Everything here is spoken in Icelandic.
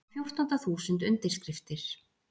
Á fjórtánda þúsund undirskriftir